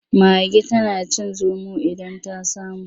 Mage tana cin zomo idan ta samu.